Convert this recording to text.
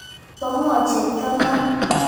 Po ng'o chepto no?